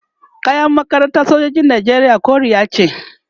kayan sojojin nijeriya koriya ce